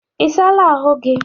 Ị saala ahụ gị?